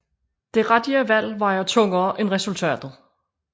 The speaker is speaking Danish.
Det rigtige valg vejer tungere end resultatet